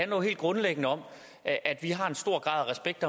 jo helt grundlæggende om at at vi har en stor grad af respekt